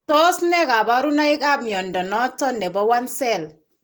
Tos nee kabarunaik ab mnyondo noton nebo I cell?